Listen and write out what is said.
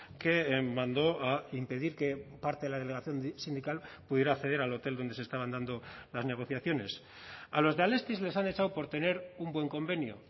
que mandó a impedir que parte de la delegación sindical pudiera acceder al hotel donde se estaban dando las negociaciones a los de alestis les han echado por tener un buen convenio